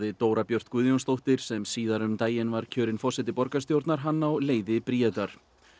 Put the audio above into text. Dóra Björt Guðjónsdóttir sem síðar um daginn var kjörin forseti borgarstjórnar lagði hann á leiði Bríetar